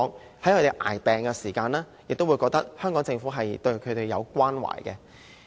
那麼，他們在捱病的時候，也會感覺到香港政府對他們的關懷。